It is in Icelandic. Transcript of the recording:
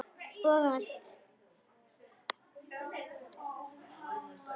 Og allt.